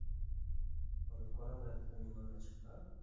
ஒரு குரங்கு எடுத்து பண்ணீங்கன்னு வச்சுக்கோங்களேன்